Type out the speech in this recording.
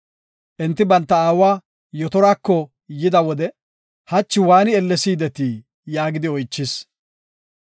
Enti banta aawa Yetorako yida wode, “Hachi waani ellesi yidetii?” yaagidi oychis.